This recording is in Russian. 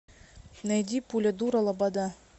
найди пуля дура лобода